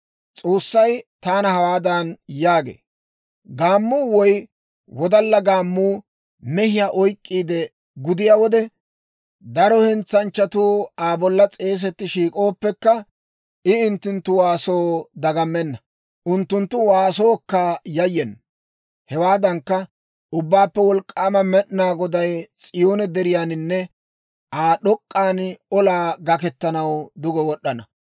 S'oossay taana hawaadan yaagee; «Gaammuu woy wodalla gaammuu mehiyaa oyk'k'iide gudiyaa wode, daro hentsanchchatuu Aa bolla s'eesetti shiik'ooppekka, I unttunttu waasoo dagammenna. Unttunttu waasookka yayyena. Hewaadankka, Ubbaappe Wolk'k'aama Med'inaa Goday S'iyoone Deriyaaninne Aa d'ok'k'an olaa gakkettanaw duge wod'd'ana.